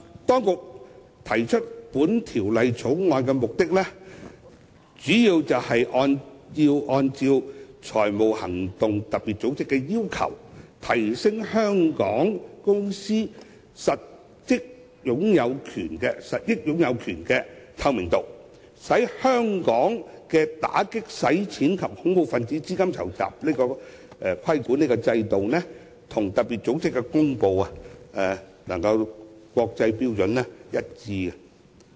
當局提出《條例草案》的目的，主要是按照特別組織的要求，提升香港公司實益擁有權的透明度，使香港的打擊洗錢及恐怖分子資金籌集規管制度與特別組織公布的國際標準一致。